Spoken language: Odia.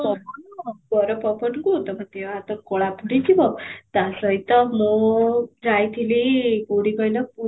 ପବନ ଗରମ ପବନକୁ ତମୋ ଦେହ ହାତ କଳା ପଡିଯିବ, ତା ସହିତ ମୁଁ ଯାଇଥିଲି କୋଉଠି କହିଲ ପୁରୀ